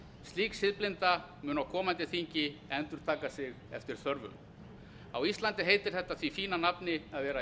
annan slík siðblinda mun á komandi þingi endurtaka sig eftir þörfum á íslandi heitir þetta því fína nafni að vera í